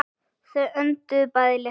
Þau önduðu bæði léttar.